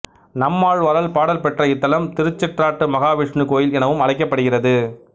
நம்மாழ்வாரால் பாடல் பெற்ற இத்தலம் திருச்சிற்றாற்று மகாவிஷ்ணு கோயில் எனவும் அழைக்கப்படுகிறது